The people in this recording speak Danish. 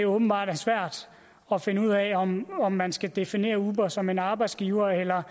åbenbart er svært at finde ud af om om man skal definere uber som en arbejdsgiver eller